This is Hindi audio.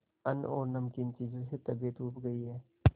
अन्न और नमकीन चीजों से तबीयत ऊब भी गई है